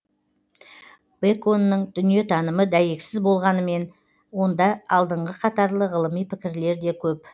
бэконның дүниетанымы дәйексіз болғанмен онда алдыңғы қатарлы ғылыми пікірлер де көп